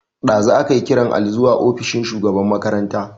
Dazu akai kiran Ali zuwa ofishin shugaban makaranta.